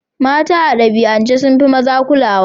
Mata a dabi'ance sun fi maza kulawa.